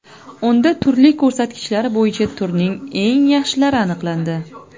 Unda turli ko‘rsatkichlar bo‘yicha turning eng yaxshilari aniqlandi .